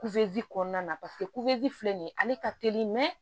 Kuzi kɔnɔna na paseke filɛ nin ye ale ka teli